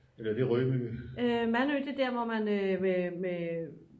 mandø det er der hvor man med